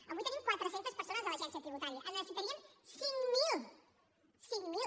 avui tenim quatre cents persones a l’agència tributària en necessitaríem cinc mil cinc mil